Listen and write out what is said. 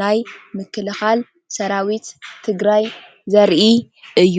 ናይ ምክልኻል ሰራዊት ትግራይ ዘርኢ እዩ።